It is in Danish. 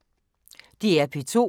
DR P2